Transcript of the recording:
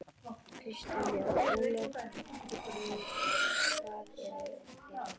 Kristján Már: Ólöf við hvað eru þið hræddust?